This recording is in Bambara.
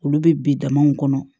Olu bɛ bi damaw kɔnɔ